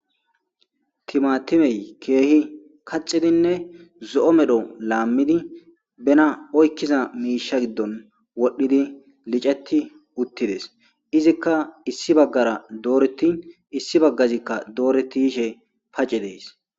timatimey keehi kaxidinne zo7o medho laammidi bena oykkiza miisha giddon wodhdhidi liceti uttides izikka issi baggara dooreti issi baggazikka dooreti yishe pace dees